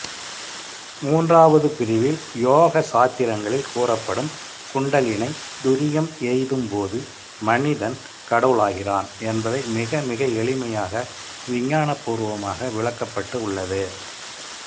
மூன்றாவது பிரிவில் யோக சாத்திரங்களில் கூறப்படும்குண்டலினி துரியம் எய்தும்போது மனிதன் கடவுளாகிறான் என்பதை மிகமிக எளிமையாக விஞ்ஞானப்பூர்வமாக விளக்கப்பட்டு உள்ளது